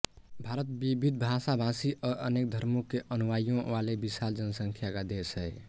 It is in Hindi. भारत विविध भाषाभाषी और अनेक धर्मों के अनुयायियों वाले विशाल जनसंख्या का देश है